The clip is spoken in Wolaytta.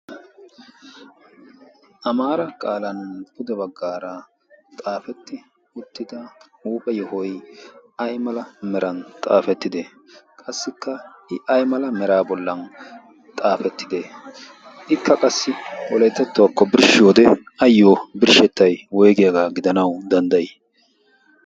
amaara qaalan pude baggaara xaafetti uttida huuphe yohoi ai mala meran xaafettide? qassikka i ay mala mera bollan xaafettide? Ikka qassi poleetettuwaakko birshshiyode ayyo birshshettay woygiyaagaa gidanau danddayi?